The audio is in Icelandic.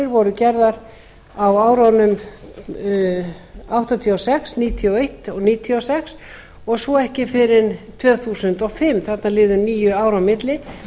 hundruð níutíu og eins og nítján hundruð níutíu og sex og svo ekki fyrr en tvö þúsund og fimm þarna liðu níu ár á milli